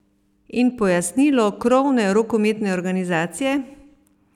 In pojasnilo krovne rokometne organizacije?